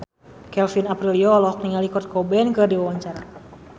Kevin Aprilio olohok ningali Kurt Cobain keur diwawancara